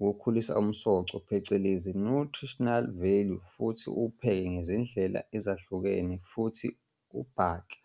ukukhulisa umsoco phecelezi nutritional value futhi uwupheke ngezindlela ezahlukene futhi ubhake.